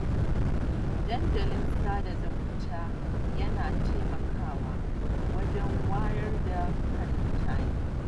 Dandalin sada zumunta yana taimakawa wajen wayar da kan mutane